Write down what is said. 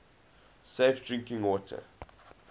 safe drinking water